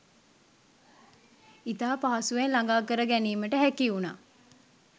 ඉතා පහසුවෙන් ළඟාකර ගැනීමට හැකි වුණා.